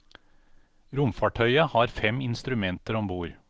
Romfartøyet har fem instrumenter om bord.